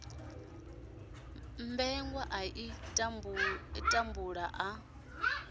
mmbengwa a ḓi tambula a